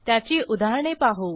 त्याची उदाहरणे पाहू